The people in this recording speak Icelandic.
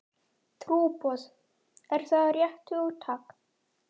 Trúboð, er það rétt hugtak?